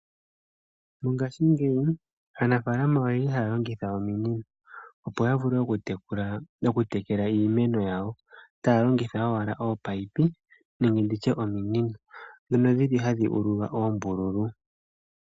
Mongashingeyi aanafaalama oyeli haya longitha ominino opo ya vule okutekela iimeno yawo, taa longitha owala ominino ndhono dhili hadhi ululwa oombululu.